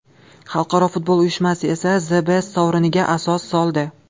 Xalqaro futbol uyushmasi esa The Best sovriniga asos soldi.